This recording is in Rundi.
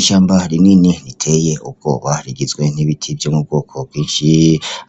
Ishamba rinini riteye ubwoba rigizwe n'ibiti vyo mubwoko bw'ici,